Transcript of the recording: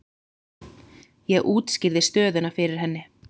Ég útskýrði stöðuna fyrir henni.